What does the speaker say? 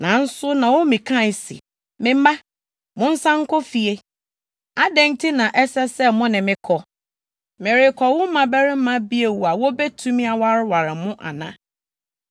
Nanso Naomi kae se, “Me mma, monsan nkɔ fie. Adɛn nti na ɛsɛ sɛ mo ne me kɔ? Merekɔwo mmabarima bio a wobetumi awareware mo ana?